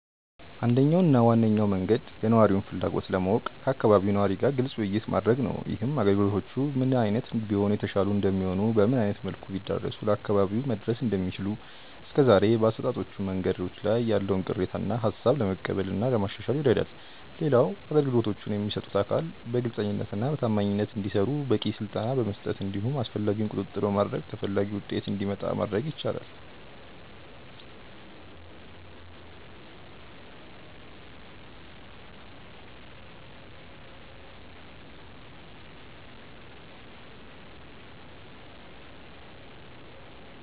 አንደኛው እና ዋነኛው መንገድ የነዋሪውን ፍላጎት ለማወቅ ከአካባቢው ነዋሪ ጋር ግልጽ ውይይት ማድረግ ነው። ይህም አገልግሎቶቹ ምን አይነት ቢሆኑ የተሻሉ እንደሚሆኑ፤ በምን አይነት መልኩ ቢዳረሱ ለአካባቢው መድረስ እንደሚችሉ፤ እስከዛሬ በአሰጣጦቹ መንገዶች ላይ ያለውን ቅሬታ እና ሃሳብ ለመቀበል እና ለማሻሻል ይረዳል። ሌላው አገልግሎቶቹን የሚሰጡት አካል በግልጸኝነት እና በታማኝነት እንዲሰሩ በቂ ስልጠና በመስጠት እንዲሁም አስፈላጊውን ቁጥጥር በማድረግ ተፈላጊው ውጤት እንዲመጣ ማድረግ ይቻላል።